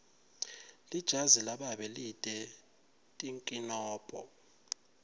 lijazi lababe lite tinkinombo